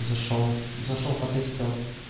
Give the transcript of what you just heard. зашёл зашёл потестил